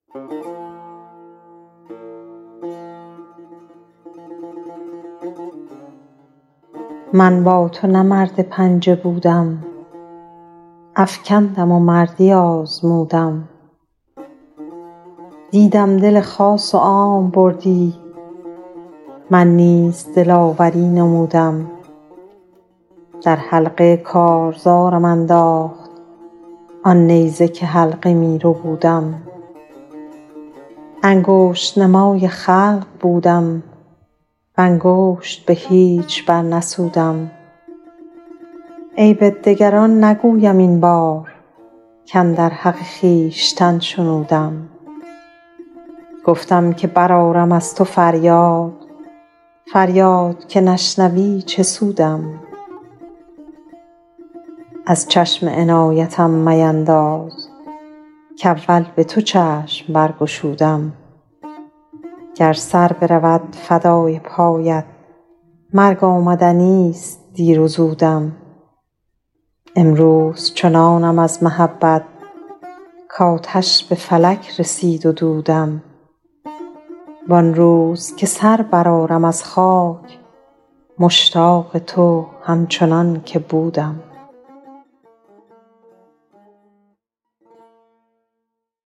من با تو نه مرد پنجه بودم افکندم و مردی آزمودم دیدم دل خاص و عام بردی من نیز دلاوری نمودم در حلقه کارزارم انداخت آن نیزه که حلقه می ربودم انگشت نمای خلق بودم و انگشت به هیچ برنسودم عیب دگران نگویم این بار کاندر حق خویشتن شنودم گفتم که برآرم از تو فریاد فریاد که نشنوی چه سودم از چشم عنایتم مینداز کاول به تو چشم برگشودم گر سر برود فدای پایت مرگ آمدنیست دیر و زودم امروز چنانم از محبت کآتش به فلک رسید و دودم وان روز که سر برآرم از خاک مشتاق تو همچنان که بودم